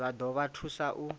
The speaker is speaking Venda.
zwa ḓo vha thusa u